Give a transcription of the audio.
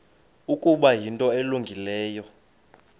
ukuba yinto elungileyo